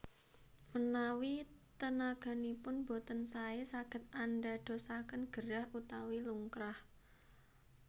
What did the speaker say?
Manawi tenaganipun boten saé saged andadosaken gerah utawi lungkrah